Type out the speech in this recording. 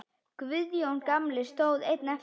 Guðjón gamli stóð einn eftir.